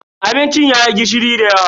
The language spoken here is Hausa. Abincin yayi gishiri dayawa.